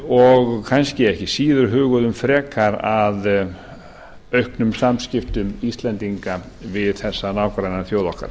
og kannski ekki síður huguðum frekar að auknum samskiptum íslendinga við þessa nágrannaþjóð okkar